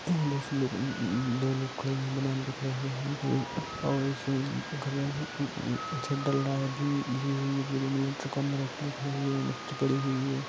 यहां बहुत से लोग दो लोग खड़े है